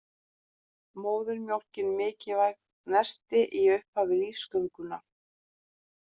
Móðurmjólkin mikilvægt nesti í upphafi lífsgöngunnar